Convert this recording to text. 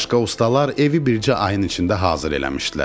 Başqa ustalar evi bircə ayın içində hazır eləmişdilər.